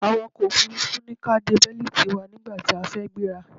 Awàkọ̀ ọkò òfurufú ní kí a de bẹ́lítì wa nígbàtí a fẹ́ gbéra.